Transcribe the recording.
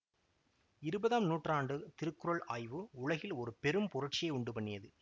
இருபதாம் நூற்றாண்டு திருக்குறள் ஆய்வு உலகில் ஒரு பெரும் புரட்சியை உண்டு பண்ணியது